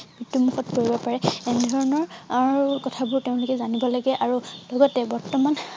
মৃত্যু মুখত পৰিব পাৰে এনেধৰণৰ অৰ কথা বোৰ তেওঁলোকে জানিব লাগে আৰু লগতে বৰ্তমান